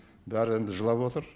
бәрі енді жылап отыр